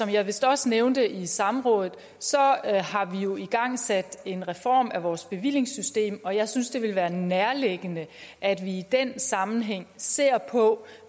jeg vist også nævnte i samrådet har vi jo igangsat en reform af vores bevillingssystem og jeg synes det vil være nærliggende at vi i den sammenhæng ser på